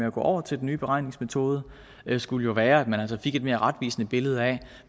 at gå over til den nye beregningsmetode jo skulle være at man fik et mere retvisende billede af